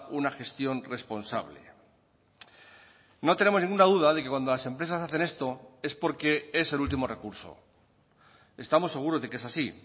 una gestión responsable no tenemos ninguna duda de que cuando las empresas hacen esto es porque es el último recurso estamos seguros de que es así